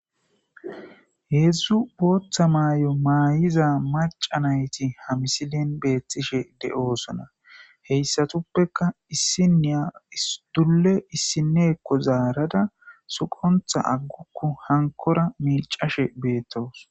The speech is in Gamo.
Hedzdzu boththa mayo mayiza maca nayit ha mislen betishe de'osona. Hesatuppeka issiniya issi dule issinyoka zarada suqonththa agugu. Honkora micashshe betawus.